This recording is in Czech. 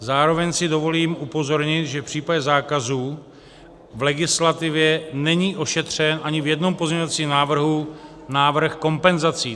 Zároveň si dovolím upozornit, že v případě zákazu v legislativě není ošetřen ani v jednom pozměňovacím návrhu návrh kompenzací.